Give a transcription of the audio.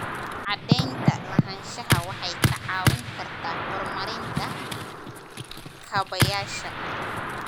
Cadaynta lahaanshaha waxay kaa caawin kartaa horumarinta kaabayaasha.